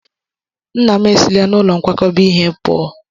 Nna m esila n'ụlọ nkwakọba ihe pụọ.